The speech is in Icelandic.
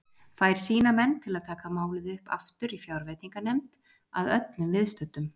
Fær sína menn til að taka málið upp aftur í fjárveitinganefnd að öllum viðstöddum.